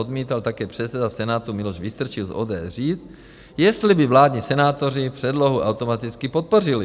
Odmítal také předseda Senátu Miloš Vystrčil z ODS říct, jestli by vládní senátoři předlohu automaticky podpořili.